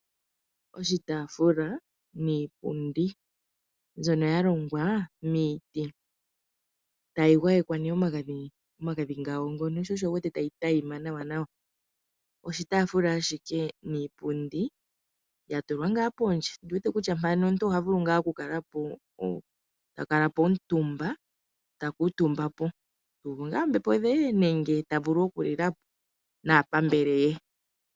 Oshitaafula niipundi mbyono ya longwa miiti. Oya gwayekwa okapainda, sho osho wu wete tayi tayima nawanawa. Oshitaafula ashike niipundi ya tulwa ngaa pondje. Ondi wete kutya mpano omuntu oha vulu ngaa okukuutumba po tu uvu po ombepo nenge ta vulu okulila po naapambele ye.